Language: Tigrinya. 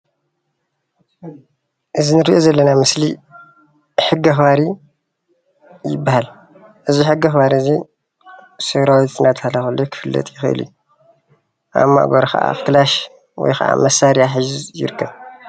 እዚ እንሪኦ ዘለና ምስሊ ሕጊ ኣክባሪ ይባሃል፡፡ እዚ ሕጊ አክባሪ እዚ ሰራዊት እናተባሃለ ከለይ ክፍለጥ ይክእል እዩ፣ ኣብ ማእገሩ ከዓ ክላሽ ወይከዓ መሳርያ ሒዙ ይርከብ፡፡